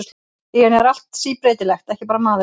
Í henni er allt síbreytilegt, ekki bara maðurinn.